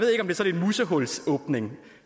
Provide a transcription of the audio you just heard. musehulsåbning